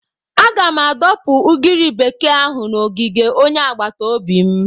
Aga m adọpụ ugiri bekee ahụ n'ogige onye agbata obi m.